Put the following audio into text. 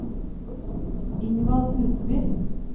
Ingvald Huseby